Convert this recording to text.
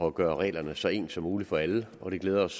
at gøre reglerne så ens som muligt for alle og det glæder os